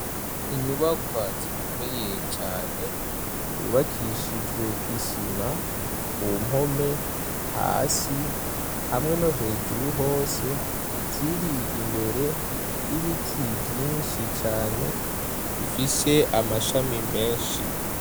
Inyubakwa zikomeye cane zubakishijwe isima kumpome, hasi hamwe no hejuru hose zir'imbere y'ibiti vyinshi cane bifise amashami menshi.